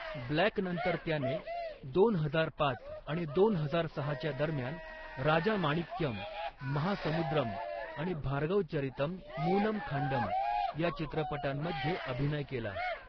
Black' नंतर त्याने दोन हजार पाच आणि दोन हजार सहाच्या दरम्यान 'राजामाणिक्यम', 'महासमुद्रम' आणि 'भार्गवचरितम् मूनम खांडम' या चित्रपटांमध्ये अभिनय केला.